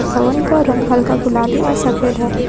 भवन का रंग हल्का गुलाबी और सफेद है।